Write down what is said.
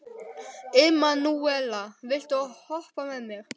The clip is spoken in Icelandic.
Emanúela, viltu hoppa með mér?